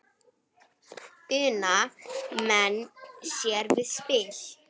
Una menn sér við spil.